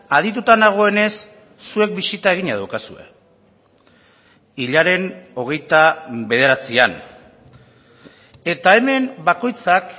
adituta nagoenez zuek bisita egina daukazue hilaren hogeita bederatzian eta hemen bakoitzak